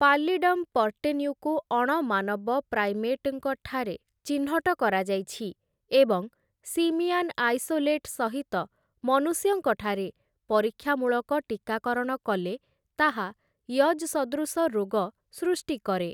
Pallidum ପର୍ଟେନ୍ୟୁକୁ ଅଣମାନବ ପ୍ରାଇମେଟ୍‌ଙ୍କ ଠାରେ ଚିହ୍ନଟ କରାଯାଇଛି, ଏବଂ ସିମିଆନ୍ ଆଇସୋଲେଟ୍‌ ସହିତ ମନୁଷ୍ୟଙ୍କ ଠାରେ ପରୀକ୍ଷାମୂଳକ ଟୀକାକରଣ କଲେ ତାହା ୟଜ୍‌ ସଦୃଶ ରୋଗ ସୃଷ୍ଟି କରେ ।